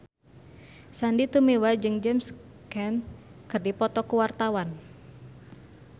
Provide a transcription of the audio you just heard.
Sandy Tumiwa jeung James Caan keur dipoto ku wartawan